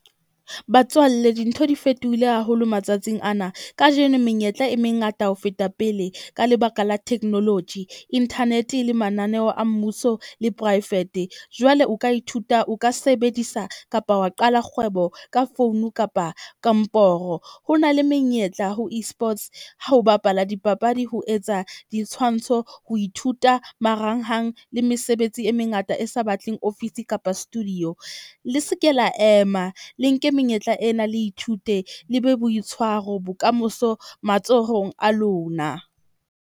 Batswalle dintho di fetohile haholo matsatsing ana. Kajeno menyetla e mengata ho feta pele, ka lebaka la technology, internet-e le mananeo a mmuso le private. Jwale o ka ithuta o ka sebedisa kapa wa qala kgwebo ka founu kapa komporo. Ho na le menyetla ho Esports ha ho bapala dipapadi ho etsa ditshwantsho. O ithuta marangrang le mesebetsi e mengata e sa batleng ofisi kapa studio. Le se ke la ema le nke menyetla ena, le ithute le be boitshwaro bokamoso matsohong a lona.